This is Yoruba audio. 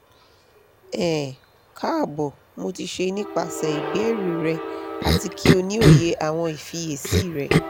um kaabo mo ti ṣe nipasẹ ibeere rẹ ati ki o ni oye awọn ifiyesi rẹ